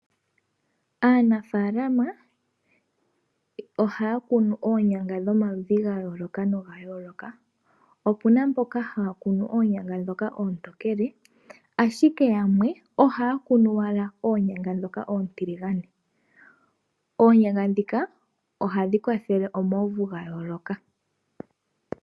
Aanafaalama ohaa kunu oonyanga dhomaludhi ga yoolokathana. Opuna mboka haa kunu oonyanga ndhoka oontokele, ashike yamwe ohaa kunu owala oonyanga dhoka oontiligane. Oonyanga ndhoka ohadhi kwathele omauvu ga yooloka.